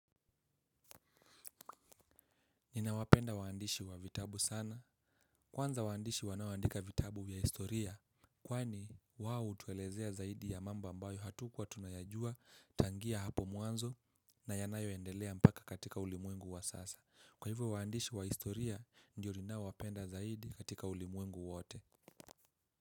Ninawapenda waandishi wa vitabu sana. Kwanza waandishi wanaoandika vitabu vya historia. Kwani wao hutuelezea zaidi ya mambo ambayo hatukuwa tunayajua tangia hapo mwanzo na yanayoendelea mpaka katika ulimwengu wa sasa. Kwa hivyo waandishi wa historia ndio ninaowapenda zaidi katika ulimwengu wote.